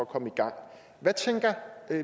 komme i gang hvad tænker